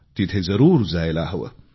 तिथे जरूर जायला हवे